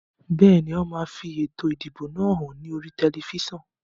Bẹ́ẹ̀ni, wón máa fi ètò ìdìbò náà hàn ní oríi tẹlifísàn